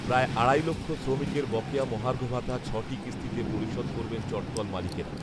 প্রায় আড়াই লক্ষ শ্রমিকের বকেয়া মহার্ঘ ভাতা ছটি কিস্তিতে পরিশোধ করবেন চটকল মালিকেরা